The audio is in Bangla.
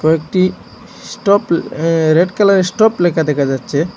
কয়েকটি স্টপ অ্যা রেড কালারের স্টপ লেখা দেখা যাচ্ছে।